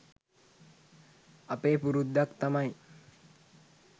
අපේ පුරුද්දක් තමයි